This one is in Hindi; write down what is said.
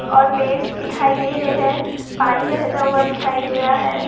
और पेड़ दिखाई दे रहे हैं पानी बहता हुआ दिखाई दे रहा है ।